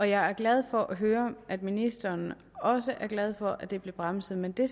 jeg er glad for at høre at ministeren også er glad for at det blev bremset men det